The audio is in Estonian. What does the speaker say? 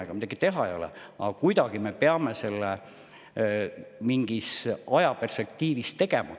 Aga midagi teha ei ole, kuidagi me peame selle mingis ajaperspektiivis tegema.